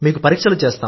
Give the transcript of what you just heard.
మీకు పరీక్షలు